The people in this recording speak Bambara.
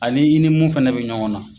Ani i ni mun fana bɛ ɲɔgɔn na.